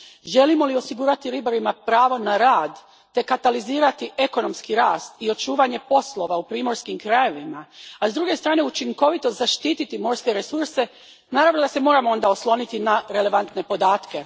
Želimo li osigurati ribarima pravo na rad te katalizirati ekonomski rast i očuvanje poslova u primorskim krajevima, a s druge strane učinkovito zaštiti morske resurse, naravno da se moramo osloniti na relevantne podatke.